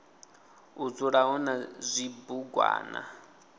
u dzula hu na zwibugwana